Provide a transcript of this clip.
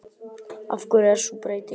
Af hverju er sú breyting?